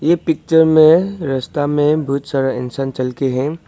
ये पिक्चर में रास्ता में बहुत सारा इंसान चल के हैं।